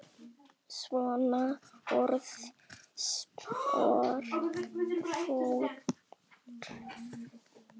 Svona orðspor fór af þér.